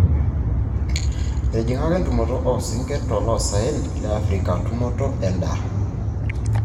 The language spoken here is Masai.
etijing'aka entumoto oo sinkir toloosaen le africa tumoto edaa.